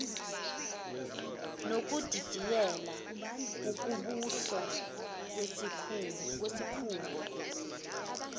nokudidiyela ukubuswa kwesikhungo